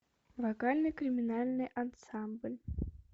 вокальный криминальный ансамбль